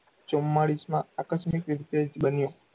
ચૂમ્માળીશમાં આકસ્મિક રીતે જ બન્યો.